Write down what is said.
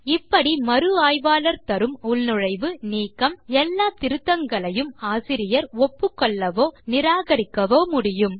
இப்படி மறு ஆய்வாளர் தரும் உள்நுழைவு நீக்கம் எல்லா திருத்தங்களையும் ஆசிரியர் ஒப்புக்கொள்ளவோ நிராகரிக்கவோ முடியும்